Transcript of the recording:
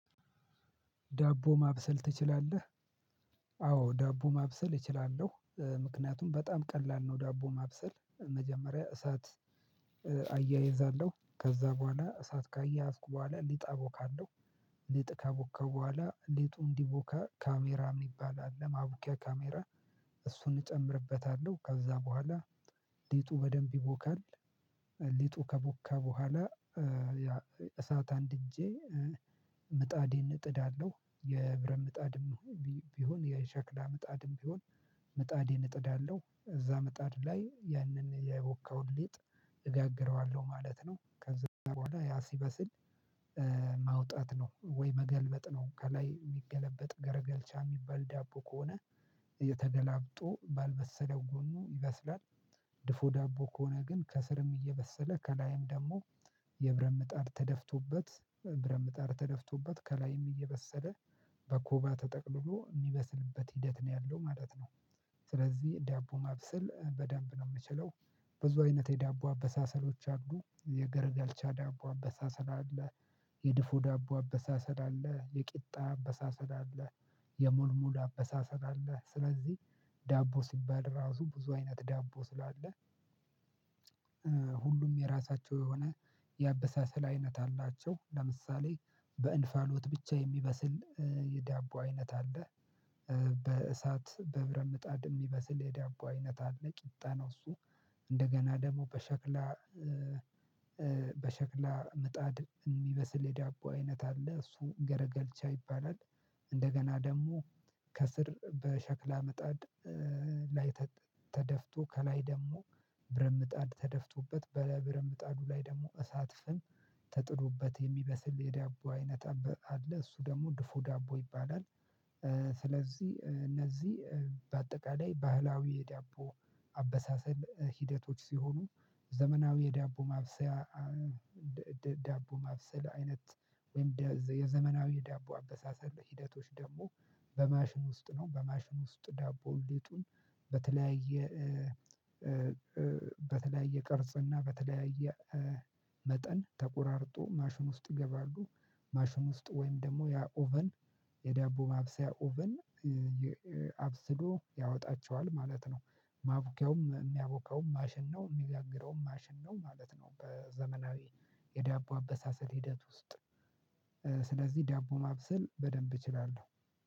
ዳቦ ማብሰል ትችላለህ? አዎ ዳቦ ማብሰል እችላለሁ ምክንያቱም በጣም ቀላል ነው። ዳቦ ማብሰል መጀመሪያ እሳት አያይዛለሁ ከዛ በኋላ እሳት ካያያዝኩ በኋላ ሊጥ አቦካለሁ። ሊጥ አቡከ በኋላ ሊጡ እንዲቡከ ካሜራ ሚባል አለ ማቡኪያ ካሜራ እሱን እጨምርበታለሁ ከዛ በኋላ ሊጡ በደንብ ይቦካል። ሊጡ ከቦካ በኋላ እሳት አንድ እንድጄ ምጣዴን እጥዳለሁ የብረት ምጣድም ቢሆን የሸክላ ምጣድም ቢሆን ምጣዴን እጥዳለሁ እዛ ምጣድ ላይ ያንን ያቦካውን ሊጥ። እጋግረዋለሁ ማለት ነው ከዛ በኋላ ያ ሲበስል ማውጣት ነው። ወይ መገልበጥ ነው። ከላይ የሚገለበጥ ገረገልቻ የሚባል ዳቦ ከሆነ እየተደላብጦ ባልበሰለው ጎኑ ይበስላል። ድፎ ዳቦ ከሆነ ግን ከስርም እየበሰለ ከላይም ደግሞ የብረምጣር ተደፍቶበት በብረምጣር ተደፍቶበት ከላይም እየበሰለ በኩባ ተጠቅልሎ የሚመስልበት ሂደት ነው ያለው ማለት ነው። ስለዚህ ዳቦ ማብሰል በደንብ ነው የምችለው። ብዙ አይነት የዳቦ አበሳሰሎች አሉ የገረገልቻ ዳቦ አበሳሰል አለ። የድፎ ዳቦ አበሳሰል አለ የቂጣ አበሳሰል አለ። የሙልሙል አበሳሰል አለ። ስለዚህ ዳቦ ሲባል ራሱ ብዙ አይነት ዳቦ ስላለ ሁሉም የራሳቸው የሆነ የአበሳሰል አይነት አላቸው። ለምሳሌ በእንፋሎት ብቻ የሚበስል የዳቦ አይነት አለ። በእሳት በብረምጣድ የሚበስል የዳቦ አይነት አለ ቂጣ ነው እሱ። እንደገና ደግሞ በሸክላ በሸክላ ምጣድ የሚበስል የዳቦ አይነት አለ እሱ ገረገልቻ ይባላል። እንደገና ደግሞ ከስር በሸክላ ምጣድ ላይ ተደፍቶ ከላይ ደግሞ ብረት ምጣድ ተደፍቶበት በብረት ምጣዱ ላይ ደግሞ እሳት ፍም ተጥዶበት የሚበስል የዳቦ አይነት አለ እሱ ደግሞ ድፎ ዳቦ ይባላል። ስለዚህ እነዚህ በአጠቃላይ ባህላዊ የዳቦ አበሳሰል ሂደቶች ሲሆኑ። ዘመናዊ የዳቦ ማብሰያ ዳቦ ማብሰል አይነት። ወይም የዘመናዊ ዳቦ አበሳሰል ሂደቶች ደግሞ በማሽን ውስጥ ነው። በማሽን ውስጥ ዳቦ ሊጡን በተለያየ በተለያየ ቅርጽና በተለያየ መጠን ተቆራርጦ ማሽን ውስጥ ገባሉ ማሽን ውስጥ ወይም ደግሞ ያ ኦቨን የዳቦ ማብሰያ ኦቨን አብስሎ ያወጣቸዋል ማለት ነው። ማቡኪያውም የሚያቦካውም ማሽን ነው የሚጋግረውም ማሽን ነው ማለት ነው። በዘመናዊ የዳቦ አበሳሰል ሂደት ውስጥ ስለዚህ ዳቦ ማብሰል በደንብ እችላለሁ።